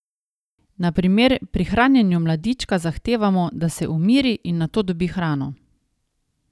Na primer, pri hranjenju mladička zahtevamo, da se umiri in nato dobi hrano.